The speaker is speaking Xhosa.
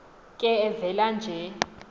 ke evela nje